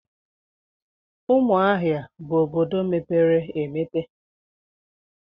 Umuahia bu obodo mepere emepe.